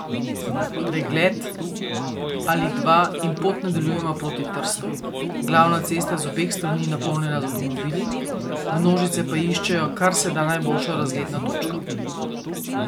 Pogled ali dva in pot nadaljujemo proti Trstu, glavna cesta je z obeh strani napolnjena z avtomobili, množice pa iščejo karseda najboljšo razgledno točko.